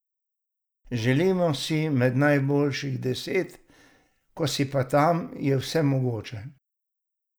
Želimo si med najboljših deset, ko si pa tam, je vse mogoče.